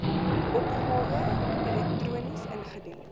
opgawe elektronies ingedien